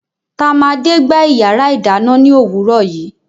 tamade gba iyarà idanna ni owùro yìí